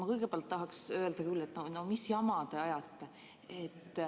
Ma kõigepealt tahaks öelda küll, et no mis jama te ajate.